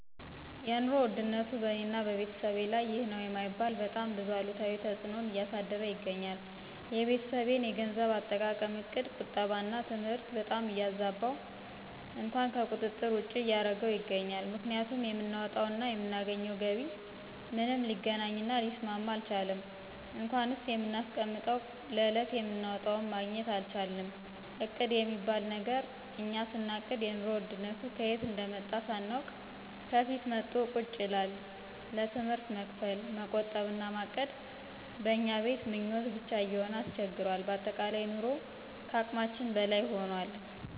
የኑሮ ውድነቱ በእኔና በቤተሰቤ ላይ ይህ ነዉ የማይባል በጣም ብዙ አሉታዊ ተጽእኖን እያሳደረ ይገኛል። የቤተሰቤን የገንዘብ አጠቃቀም እቅድ ቁጠባና ትምህርት በጣም እያዛበው እንኳን ከቁጥር ውጭ እያረገው ይገኛል፤ ምክንያቱም የምናወጣው እና የምናገኘው ገቢ ምንም ሊገናኝ እና ሊስማማ አልቻለም እንኳንስ የምናስቀምጠው ለዕለት የምናወጣውም ማግኘት አልቻልንም እቅድ የሚባል ነገር እኛ ስናቅድ የኑሮ ውድነቱ ከየት እንደመጣ ሳናውቅ ከፊት መቶ ቁጭ ይላል፣ ለትምህርት መክፈል፣ መቆጠብ እና ማቀድ በእኛ ቤት ምኞት ብቻ እየሆነ አስቸግሯል በአጠቃላይ ኑሮ ከአቅማችን በላይ ሁኗል።